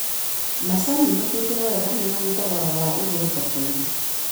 Macani matuĩtwo wega nĩmarĩ thogora wa igũrũ thokoinĩ.